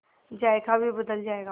जायका भी बदल जाएगा